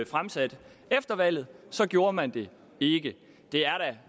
fremsat efter valget gjorde man det ikke det er